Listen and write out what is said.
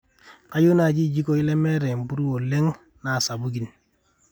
kayieu naaji iljikoi lemeeta empuruo oleng na sapukin